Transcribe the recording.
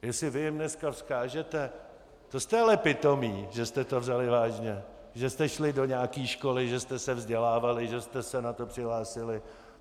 Jestli vy jim dneska vzkážete: To jste ale pitomí, že jste to vzali vážně, že jste šli do nějaké školy, že jste se vzdělávali, že jste se na to přihlásili!